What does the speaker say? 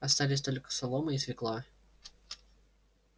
остались только солома и свёкла